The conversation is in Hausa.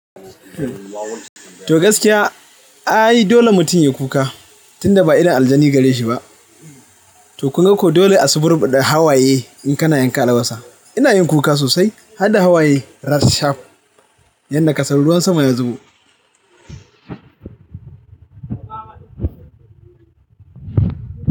Toh gaskiya, ai dole mutum ya kuka tunda ba idon aljani gareshi ba. Toh kun ga ko dole a suburɓaɗa hayaye in kana yanka albasa. Ina yin kuka sosai har da hawaye rashaf yadda kasar ruwan sama ya zubo.